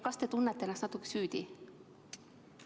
Kas te tunnete ennast natuke süüdi?